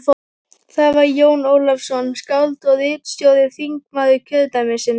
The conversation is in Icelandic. Það var Jón Ólafsson, skáld og ritstjóri, þingmaður kjördæmisins.